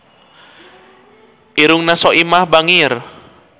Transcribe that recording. Irungna Soimah bangir